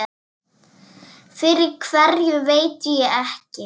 Fyrir hverju veit ég ekki.